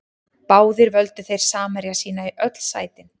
Báðir völdu þeir samherja sína í öll sætin.